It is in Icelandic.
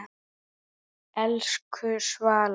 Elsku Svala.